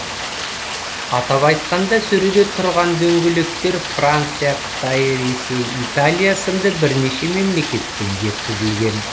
атап айтқанда сөреде тұрған дөңгелектер франция қытай ресей италия сынды бірнеше мемлекеттен жеткізілген